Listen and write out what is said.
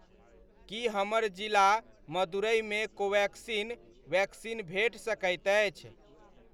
की हमर जिला मदुरैमे कोवेक्सिन वैक्सीन भेट सकैत अछि?